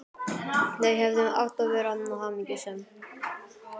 Þau hefðu átt að vera hamingjusöm.